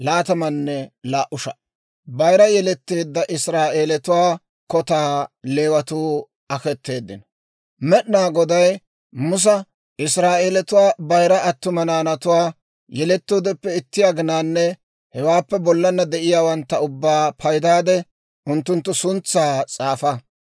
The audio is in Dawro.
Med'inaa Goday Musa, «Israa'eelatuwaa bayira attuma naanatuwaa, yelettoodeppe itti aginanne hewaappe bollana de'iyaawantta ubbaa paydaade unttunttu suntsaa s'aafa.